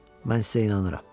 Mən sizə inanıram.